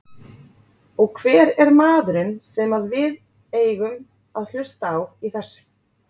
Og hver er maðurinn sem að við eigum að hlusta á í þessu?